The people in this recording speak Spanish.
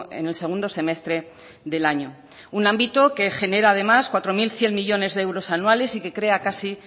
en el segundo semestre del año un ámbito que genera además cuatro mil cien millónes de euros anuales y que crea casi